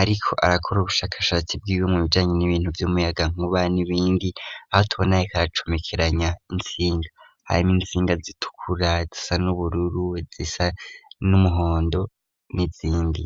ariko arakora ubushakashatsi bwiwe mu bijanye n'ibintu vy'umuyagankuba n'ibindi, aho tubona ariko aracomekeranya intsinga harimwo intsinga zitukura, izisa n'ubururu, izisa n'umuhondo n'izindi